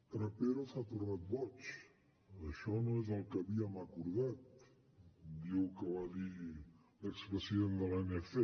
trapero s’ha tornat boig això no és el que havíem acordat diu que va dir l’expresident de l’anc